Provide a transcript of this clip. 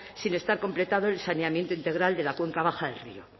sin estar completado el saneamiento integral de la cuenca baja del río